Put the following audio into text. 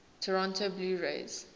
toronto blue jays